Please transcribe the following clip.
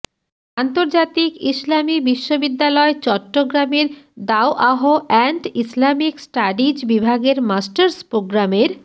আন্তর্জাতিক ইসলামী বিশ্ববিদ্যালয় চট্টগ্রামের দাওয়াহ অ্যান্ড ইসলামিক স্টাডিজ বিভাগের মাস্টার্স প্রোগ্রামের